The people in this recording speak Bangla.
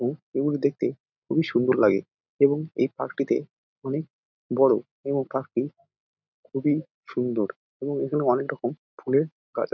এবং উট দেখতে খুবই সুন্দর লাগে এবং এই পার্ক -টিতে অনেক বড়ো এবং পার্ক -টি খুবই সুন্দর এবং এখানে অনেক রকম ফুলের গাছ আছে |